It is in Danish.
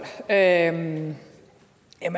jamen